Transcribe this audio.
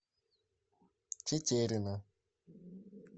тетерина